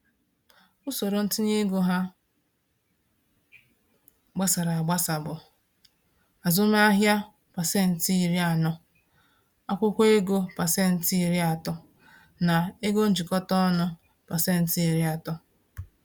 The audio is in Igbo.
Usoro ntinye ego ha gbasara agbasa bụ: azụmahịa 40%, akwụkwọ ego 30%, na ego njikọta ọnụ 30%.